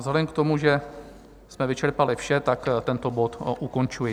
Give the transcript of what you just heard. Vzhledem k tomu, že jsme vyčerpali vše, tak tento bod ukončuji.